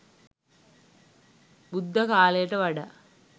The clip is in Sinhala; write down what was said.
බුද්ධ කාලයට වඩා